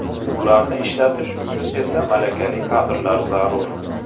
Bularni ishlatish uchun esa malakali kadrlar zarur.